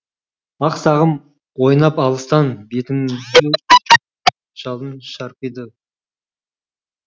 ақ сағым ойнап алыстан бетіңді жалын шарпиды